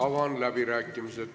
Avan läbirääkimised.